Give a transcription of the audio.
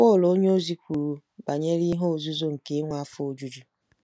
Pọl onyeozi kwuru banyere “ihe nzuzo nke inwe afọ ojuju.”